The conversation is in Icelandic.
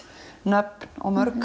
nöfn og mörg